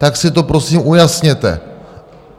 Tak si to, prosím, ujasněte.